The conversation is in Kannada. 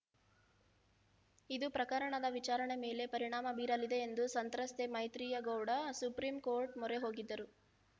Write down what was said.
ಇದು ಪ್ರಕರಣದ ವಿಚಾರಣೆ ಮೇಲೆ ಪರಿಣಾಮ ಬೀರಲಿದೆ ಎಂದು ಸಂತ್ರಸ್ತೆ ಮೈತ್ರಿಯಾ ಗೌಡ ಸುಪ್ರೀಂ ಕೋರ್ಟ್‌ ಮೊರೆ ಹೋಗಿದ್ದರು